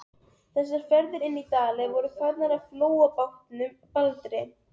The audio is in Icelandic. Þessar ferðir inn í Dali voru farnar með flóabátnum Baldri.